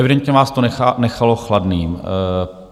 Evidentně vás to nechalo chladným.